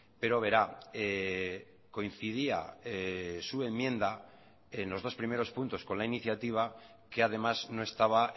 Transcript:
pero verá coincidía su enmienda en los dos primeros puntos con la iniciativa que además no estaba